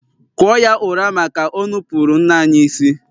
kụọ ya ụra maka o nupụrụ nne anyị isi!